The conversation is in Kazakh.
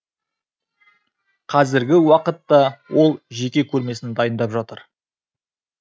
қазіргі уақытта ол жеке көрмесін дайындап жатыр